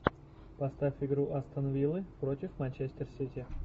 поставь игру астон виллы против манчестер сити